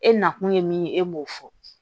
E nakun ye min ye e b'o fɔ